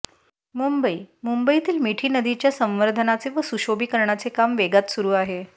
मुंबई मुंबईतील मिठी नदीच्या संवर्धनाचे व सुशोभीकरणाचे काम वेगात सुरू आहे